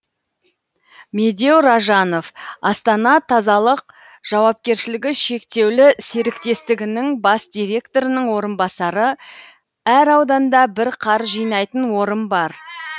медеу ражанов астана тазалық жауапкершілігі шектеулі серіктестігінің бас директорының орынбасары әр ауданда бір қар жинайтын орын бар